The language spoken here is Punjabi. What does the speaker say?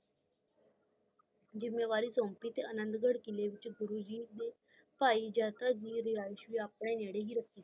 ਜ਼ਿਮੇਦਾਰੀ ਸੋਂਪੀ ਤੇ ਅਨੰਦਗੜ੍ਹ ਕਿੱਲੇ ਦੇ ਵਿਚ ਭਾਈ ਜਾਤ ਜੀ ਦੀ ਰਿਹਾਇਸ਼ ਵੀ ਆਪਣੇ ਨਾਅਰੇ ਹੈ ਰਾਖੀ